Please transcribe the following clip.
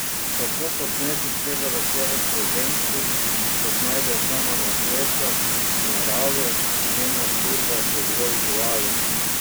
Kako posneti celovečerec o ženski, ki se znajde sama na svetu, v naravi, njena družba so zgolj živali?